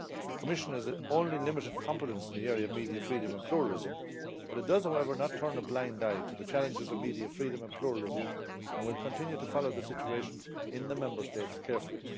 The Commission has only limited competence in the area of media freedom and pluralism, but it does however not turn a blind eye to the challenges of media freedom and pluralism and will continue to follow the situation in the Member States carefully.